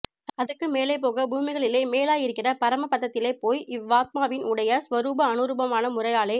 அதுக்கு மேலே போக பூமிகளிலே மேலாய் இருக்கிற பரம பதத்திலே போய் இவ் வாத்மாவின் உடைய ஸ்வரூப அனுரூபமான முறையாலே